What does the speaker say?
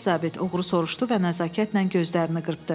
Cənab zabit uğru soruşdu və nəzakətlə gözlərini qırpdı.